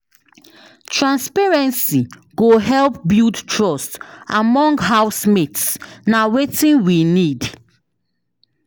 Transparency go help build trust among housemates; na wetin we need.